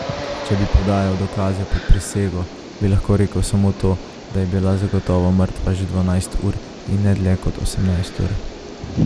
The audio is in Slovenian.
Če bi podajal dokaze pod prisego, bi lahko rekel samo to, da je bila zagotovo mrtva že dvanajst ur in ne dlje kot osemnajst ur.